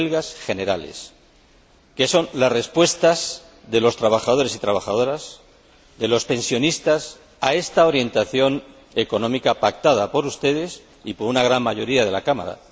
Huelgas generales que son las respuestas de los trabajadores y trabajadoras, de los pensionistas, a esta orientación económica pactada por ustedes y por una gran mayoría de la Cámara.